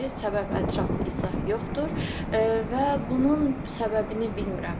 Səbəb ətraflı izah yoxdur və bunun səbəbini bilmirəm.